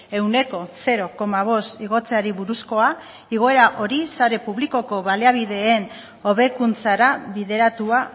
ehuneko zero koma bost igotzeari buruzkoa igoera hori sare publikoko baliabideen hobekuntzara bideratua